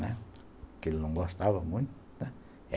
Né, porque ele não gostava muito, né.